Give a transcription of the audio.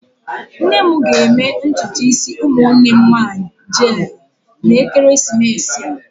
Nne m ga-eme ntutu isi ụmụnne m nwanyị jeelụ n'ekeresimesi a.